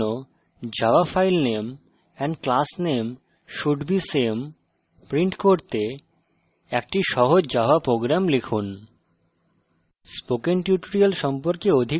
আপন মূল্যায়নের জন্য java file name and class name should be same print করতে একটি সহজ java program লিখুন